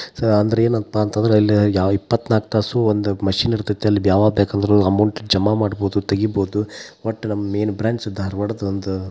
ಇದು ಅಂದ್ರ ಏನಂತ ಪಾ ಅಂದ್ರ ಇಲ್ಲೇ ಇಪ್ಪತ್ತ ನಾಲ್ಕ ತಾಸು ಒಂದ ಮಷೀನ್ ಇರತೈತಿ ಅಲ್ಲ ಯಾವಾಗ ಬೇಕಂದ್ರೂ ಅಮೌಂಟ ಜಮಾ ಮಾಡಬಹುದು ತಗಿಬಹುದು. ವಟ್ಟ್ ನಮ್ಮ್ ಮೇನ್ ಬ್ರಾಂಚ್ ಧಾರವಾಡದ ಒಂದ--